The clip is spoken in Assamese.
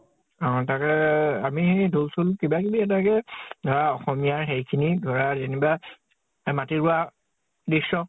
তাকেই আমি ঢোল চোল কিবা কিবি এনেকে আহ অসমীয়া হেৰি খিনি ধৰা যেনিবা মাটি ৰুৱা দৃশ্য